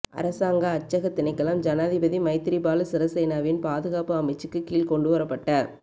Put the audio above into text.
அரசாங்க அச்சக திணைக்களம் ஜனாதிபதி மைத்திரிபால சிறிசேனவின் பாதுகாப்பு அமைச்சுக்கு கீழ் கொண்டுவரப்பட்ட